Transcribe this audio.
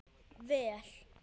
Vel